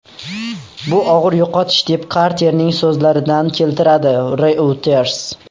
Bu og‘ir yo‘qotish”, deb Karterning so‘zlaridan keltiradi Reuters.